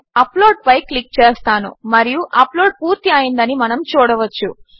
నేను అప్లోడ్పై క్లిక్ చేస్తాను మరియు అప్లోడ్ పూర్తి అయ్యిందని మనము చూడవచ్చు